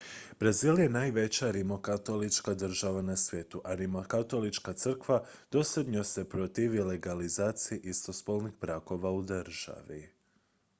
brazil je najveća rimokatolička država na svijetu a rimokatolička crkva dosljedno se protivi legalizaciji istospolnih brakova u državi